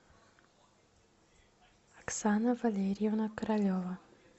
оксана валерьевна королева